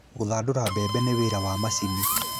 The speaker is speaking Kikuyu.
Gũthandũra mbebe nĩ wĩra wa mashini